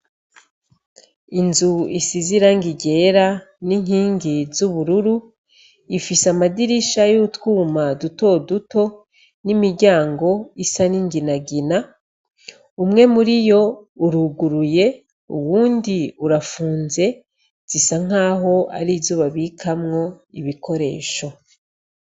Inzu isize irangi ryera n' inkingi z' ubururu, ifise amadirisha yutwuma dutoduto n' imiryango isa n' inginagina, umwe muriyo uruguruye, uwundi urapfunze, zisa nkaho arizo babikamwo ibikoresho.